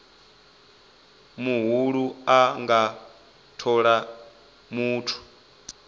muhulu a nga thola muthu